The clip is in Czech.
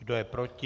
Kdo je proti?